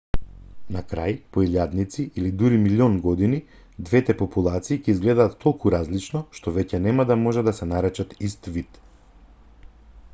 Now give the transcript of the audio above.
на крај по илјадници или дури милиони години двете популации ќе изгледаат толку различно што веќе нема да може да се наречат ист вид